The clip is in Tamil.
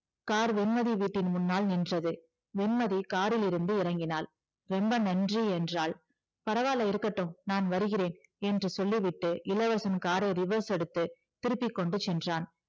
கார் வெண்மதி வீட்டின் முன்னாள் நின்றது வெண்மதி காரிலிருந்து இறங்கினாள் ரொம்ப நன்றி என்றாள் பரவால்ல இருக்கட்டும் நான் வருகிறேன் என்று சொல்லிவிட்டு இளவரசன் காரை reverse எடுத்து திருப்பிக்கொண்டு சென்றான்